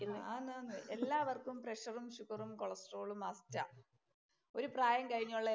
ആന്നാന്ന്. എല്ലാവർക്കും പ്രഷറും, ഷുഗറും. കൊളസ്ട്രോളും മസ്റ്റാ. ആ. ഒരു പ്രായം കഴിഞ്ഞുള്ള എല്ലാ